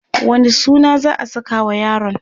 wani suna za'a sakawa yaron?